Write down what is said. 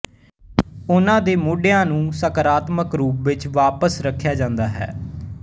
ਉਨ੍ਹਾਂ ਦੇ ਮੋਢਿਆਂ ਨੂੰ ਸਾਕਾਰਾਤਮਕ ਰੂਪ ਵਿੱਚ ਵਾਪਸ ਰੱਖਿਆ ਜਾਂਦਾ ਹੈ